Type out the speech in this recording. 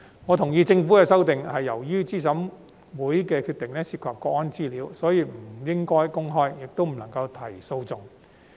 我同意政府的修正案是由於資審會決定涉及國安資料，所以不應該公開，亦不能提出訴訟。